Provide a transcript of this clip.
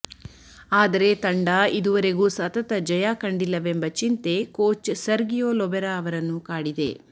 ಆದರೆ ತಂಡ ಇದುವರೆಗೂ ಸತತ ಜಯ ಕಂಡಿಲ್ಲವೆಂಬ ಚಿಂತೆ ಕೋಚ್ ಸರ್ಗಿಯೊ ಲೊಬೆರಾ ಅವರನ್ನು ಕಾಡಿದೆ